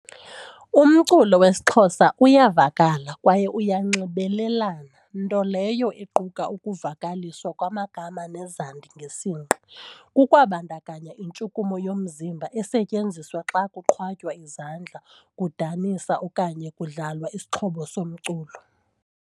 Umculo wesiXhosa uyavakala kwaye uyanxibelelana, nto leyo equka ukuvakaliswa kwamagama nezandi ngesingqi. Kukwabandakanya intshukumo yomzimba esetyenziswa xa kuqhwatywa izandla, kudanisa okanye kudlalwa isixhobo somculo.